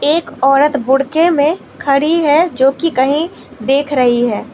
एक औरत बुड़के में खड़ी है जो कि कहीं देख रही है।